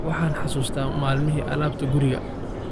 Waxaan xusuustaa maalmihii alaabta guriga